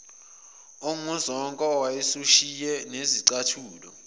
onguzonke owawusushiye nezicathulo